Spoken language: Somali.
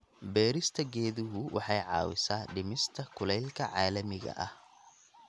Beerista geeduhu waxay caawisaa dhimista kulaylka caalamiga ah.